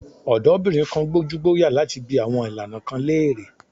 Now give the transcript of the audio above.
Ọ̀dọ́bìnrin kan gbójúgbóyà láti bi àwọn ìlànà kan léèrè.